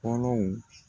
Kolow